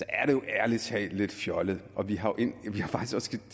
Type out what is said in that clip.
ærlig talt lidt fjollet vi har faktisk